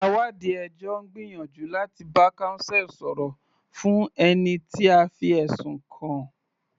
Àwáàdí ẹjọ́ ń gbìyànjú láti bá counsel sọ̀rọ̀ fún ẹni tí a fi ẹ̀sùn kàn.